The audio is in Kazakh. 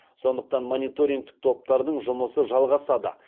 сондықтан мониторингтік топтардың жұмысы жалғасады